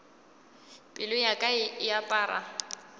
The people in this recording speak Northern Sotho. pelo ya ka e apara